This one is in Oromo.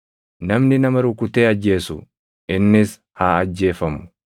“Namni nama rukutee ajjeesu innis haa ajjeefamu.